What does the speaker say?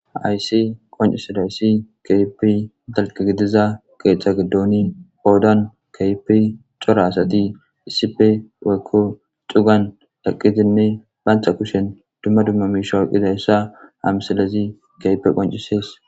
haaysi qoncisadayssi keehippe dalga gidiza ketha giddoni qodan keehippe cora asati issipe woyko cugan eqidinne banta kushen dumma dumma mishe oyqidayssa ha misilez keehippe qoncisees.